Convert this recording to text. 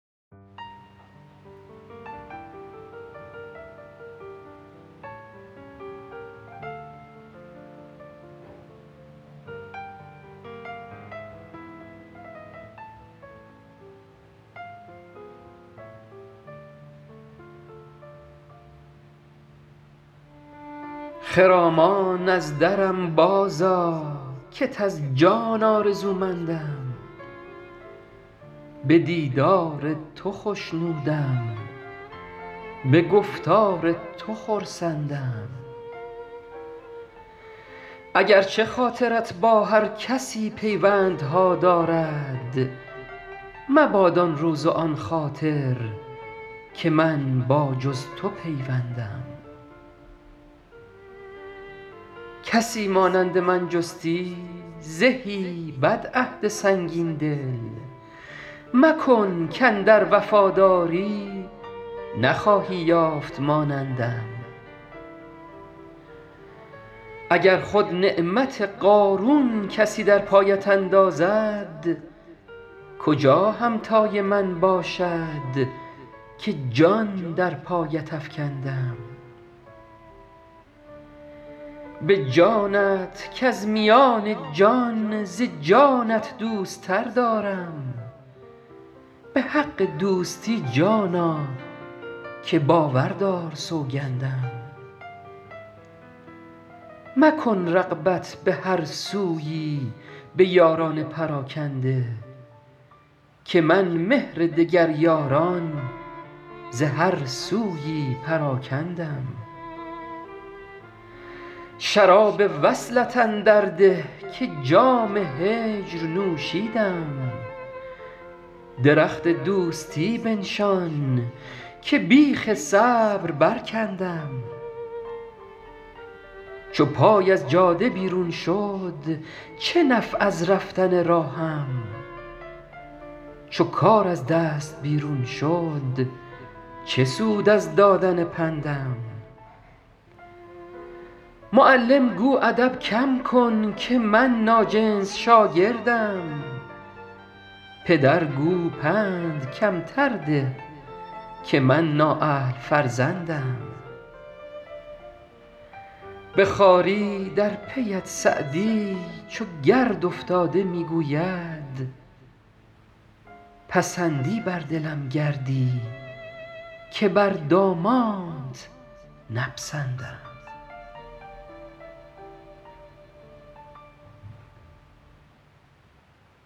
خرامان از درم بازآ کت از جان آرزومندم به دیدار تو خوشنودم به گفتار تو خرسندم اگر چه خاطرت با هر کسی پیوندها دارد مباد آن روز و آن خاطر که من با جز تو پیوندم کسی مانند من جستی زهی بدعهد سنگین دل مکن کاندر وفاداری نخواهی یافت مانندم اگر خود نعمت قارون کسی در پایت اندازد کجا همتای من باشد که جان در پایت افکندم به جانت کز میان جان ز جانت دوست تر دارم به حق دوستی جانا که باور دار سوگندم مکن رغبت به هر سویی به یاران پراکنده که من مهر دگر یاران ز هر سویی پراکندم شراب وصلت اندر ده که جام هجر نوشیدم درخت دوستی بنشان که بیخ صبر برکندم چو پای از جاده بیرون شد چه نفع از رفتن راهم چو کار از دست بیرون شد چه سود از دادن پندم معلم گو ادب کم کن که من ناجنس شاگردم پدر گو پند کمتر ده که من نااهل فرزندم به خواری در پی ات سعدی چو گرد افتاده می گوید پسندی بر دلم گردی که بر دامانت نپسندم